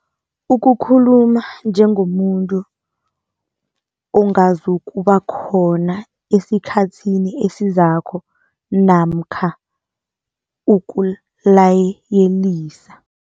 Ukukhuluma njengomuntu ongazukubakhona esikhathini esizako namkha ukulayelisa.